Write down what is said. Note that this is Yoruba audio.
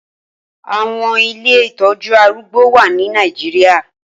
Awọn ilé itọjù àrùgbó wà ni Nàijiriá